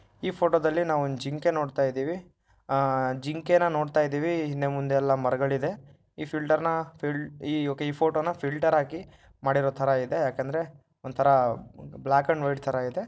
ಈ ಫೋಟೋದಲ್ಲಿ ನಾವು ಒಂದ್ ಜಿಂಕೆ ನೋಡ್ತಾ ಇದ್ದೀವಿ ಆ ಜಿಂಕೆನ ನೋಡ್ತಾ ಇದ್ದೀವಿ ಹಿಂದೆ ಮುಂದೆ ಎಲ್ಲಾ ಮರಗಳ್ ಇದೆ ಈ ಫಿಲ್ಟರ್ನ ಓಕೆ ಈ ಫೋಟೋ ನಾ ಫಿಲ್ಟರ್ ಫಿಲ್ಟರ್ ನ ಹಾಕಿ ಮಾಡಿರೊತರ ಇದೆ ಯಾಕಂದ್ರೆ ಬ್ಲಾಕ್ ಅಂಡ್ ವೈಟ್ ತರ ಇದೆ.